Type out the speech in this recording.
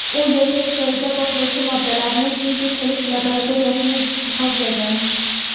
U yashash joyida portlovchi moddalarni sintez qilish laboratoriyasini jihozlagan.